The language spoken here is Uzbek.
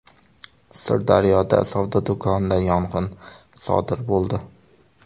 Sirdaryoda savdo do‘konida yong‘in sodir bo‘ldi.